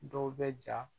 Dɔw bɛ ja